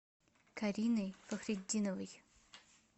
кариной фахретдиновой